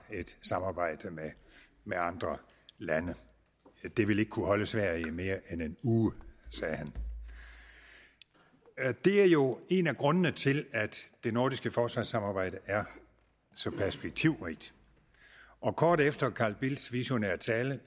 et samarbejde med andre lande det ville ikke kunne holde sverige i mere end en uge sagde han det er jo en af grundene til at det nordiske forsvarssamarbejde er så perspektivrigt kort efter carl bildts visionære tale